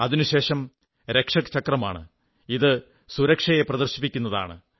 അതിനുശേഷം രക്ഷക് ചക്രമാണ് അത് സുരക്ഷയെ പ്രദർശിപ്പിക്കുന്നതാണ്